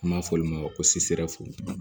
An b'a fɔ olu ma ko